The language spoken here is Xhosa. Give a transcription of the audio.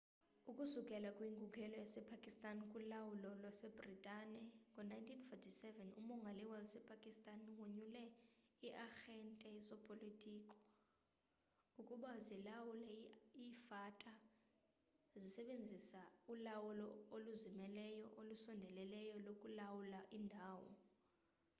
ukusukela kwinkululeko yasepakistan kulawulo lwasebritane ngo-1947 umongameli wasepakistan wonyule ii-arhente zopolitiko ukuba zilawule i-fata zisebenzisa ulawulo oluzimeleyo olusondeleyo lokulawula iindawo